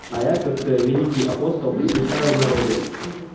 а я как великий апостол посещаю народы